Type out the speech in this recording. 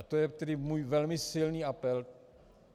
A to je tedy můj velmi silný apel.